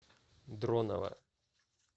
дронова